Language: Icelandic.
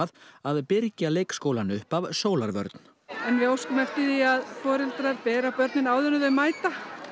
að birgja leikskólann upp af sólarvörn við óskum eftir því að foreldrar beri á börnin áður en þau mæta